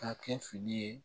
Ka kɛ fili ye